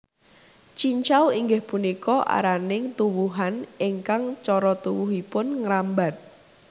Cincau inggih punika araning tuwuhan ingkang cara tuwuhipun ngrambat